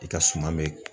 I ka suman be